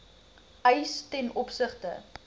eis ten opsigte